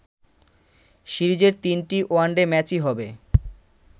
সিরিজের তিনটি ওয়ানডে ম্যাচই হবে